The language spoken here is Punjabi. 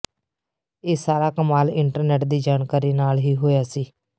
ਇਹ ਸਾਰਾ ਕਮਾਲ ਇੰਟਰਨੈੱਟ ਦੀ ਜਾਣਕਾਰੀ ਨਾਲ ਹੀ ਹੋਇਆ ਸੀ